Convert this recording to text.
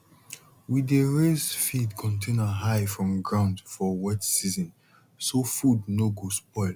we dey raise feed container high from ground for wet season so food no go spoil